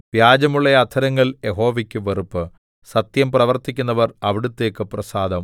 വ്യാജമുള്ള അധരങ്ങൾ യഹോവയ്ക്ക് വെറുപ്പ് സത്യം പ്രവർത്തിക്കുന്നവർ അവിടുത്തേയ്ക്ക് പ്രസാദം